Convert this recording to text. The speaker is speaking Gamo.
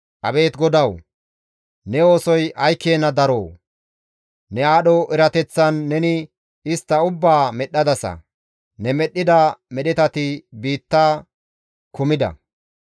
Abeet GODAWU! Ne oosoy ay keena daroo! Ne aadho erateththan neni istta ubbaa medhdhadasa; ne medhdhida medhetati biitta kumida.